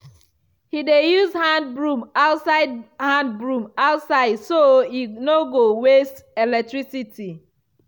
he dey use hand broom outside hand broom outside so e no go waste electricity.